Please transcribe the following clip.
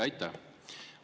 Aitäh!